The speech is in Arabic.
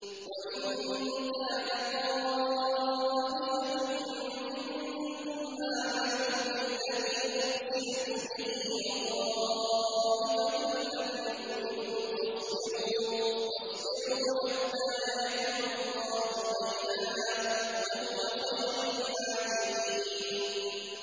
وَإِن كَانَ طَائِفَةٌ مِّنكُمْ آمَنُوا بِالَّذِي أُرْسِلْتُ بِهِ وَطَائِفَةٌ لَّمْ يُؤْمِنُوا فَاصْبِرُوا حَتَّىٰ يَحْكُمَ اللَّهُ بَيْنَنَا ۚ وَهُوَ خَيْرُ الْحَاكِمِينَ